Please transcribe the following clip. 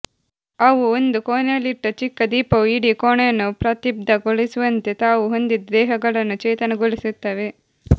ಅವು ಒಂದು ಕೋಣೆಯಲ್ಲಿಟ್ಟ ಚಿಕ್ಕ ದೀಪವು ಇಡೀ ಕೋಣೆಯನ್ನು ಪ್ರದೀಪ್ತಗೊಳಿಸುವಂತೆ ತಾವು ಹೊಂದಿದ ದೇಹಗಳನ್ನು ಚೇತನಗೊಳಿಸುತ್ತವೆ